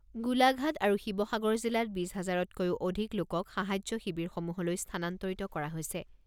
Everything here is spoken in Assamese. গোলাঘাট আৰু শিৱসাগৰ জিলাত বিছ হাজাৰতকৈও অধিক লোকক সাহায্য শিৱিৰসমূহলৈ স্থানান্তৰিত কৰা হৈছে।